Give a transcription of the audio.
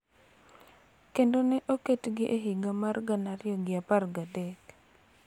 Kendo ne oketgi e higa mar gana ariyo gi apar gi adek.